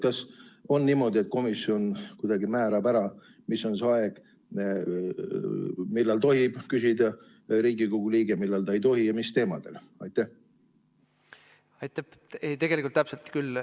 Kas on niimoodi, et komisjon määrab ära, millise aja jooksul Riigikogu liige tohib küsida ja millal ta ei tohi ning mis teemadel?